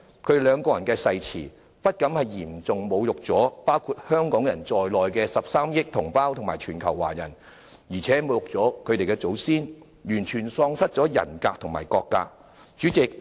他們兩人的誓詞，不僅嚴重侮辱了包括香港人在內的13億同胞和全球華人，亦侮辱了他們的祖先，完全喪失了人格和國格。